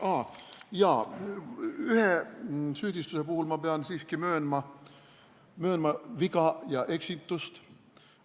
Aa jaa, ühe süüdistuse puhul pean ma siiski möönma viga ja eksitust.